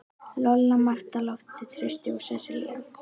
Lolla, Marta, Loftur, Trausti og Sesselía.